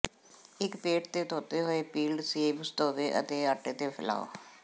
ਇੱਕ ਪੇਟ ਤੇ ਧੋਤੇ ਹੋਏ ਪੀਲਡ ਸੇਬ ਧੋਵੋ ਅਤੇ ਆਟੇ ਤੇ ਫੈਲਾਓ